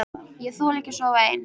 Ég þoli ekki að sofa ein.